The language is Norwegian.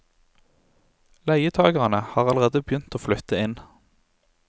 Leietagerne har allerede begynt å flytte inn.